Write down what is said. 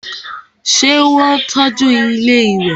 ṣé wọ́n tọ́ju ilẹ́ ìwẹ̀?